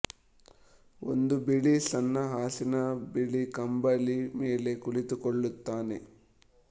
ಒಂದು ಬಿಳಿ ಸಣ್ಣ ಹಾಸಿನ ಬಿಳಿ ಕಂಬಳಿ ಮೇಲೆ ಕುಳಿತು ಕೊಳ್ಳುತ್ತಾನೆ